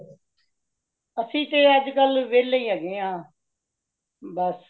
ਅਸੀ ਤੇ ਅੱਜ ਕਲ ਵੇਲੇ ਹੇਗੇ ਆ, ਬੱਸ ਸਾਰਾ ਦੀਨ ਵੇਲੇ ਬੇਠੇ ਰਹਿੰਦੇ ਹਾਂ